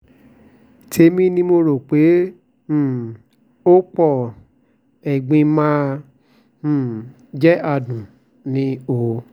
tèmi ni mo rò pé um ó pọ ẹ̀gbin má um jẹ́ adunni o